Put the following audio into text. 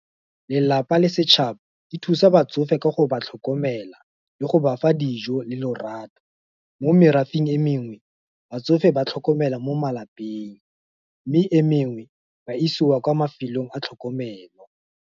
Lelapa le setšhaba, di thusa batsofe ka go ba tlhokomela, le go bafa dijo, le lorato, mo merafeng e mengwe, batsofe ba tlhokomela mo malapeng, mme e mengwe, ba isiwa kwa mafelong a tlhokomelo.